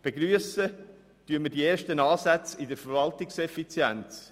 Wir begrüssen die ersten Ansätze in der Verwaltungseffizienz.